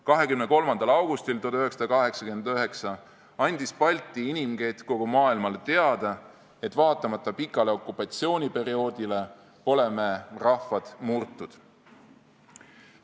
23. augustil 1989 andis Balti inimkett kogu maailmale teada, et vaatamata pikale okupatsiooniperioodile pole me rahvad murtud.